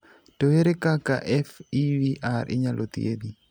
To ere kaka FEVR inyalo thiedhi?